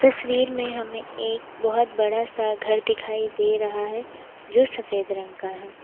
तस्वीर में हमें एक बहोत बड़ा सा घर दिखाई दे रहा है जो सफेद रंग का है।